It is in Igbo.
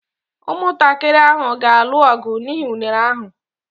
Ụmụntakịrị ahụ ga-alụ ọgụ n'ihi unere ahụ.